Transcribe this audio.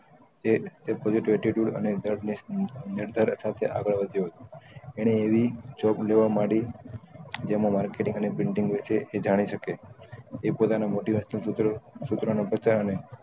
તે તે વધ્યો હતો ને એવી job લેવા માડી જેમાં marketing and printing વિષે એ જાણી સકે એ પોતાનું motivational સૂત્ર સુત્ર ના પ્રચાર ને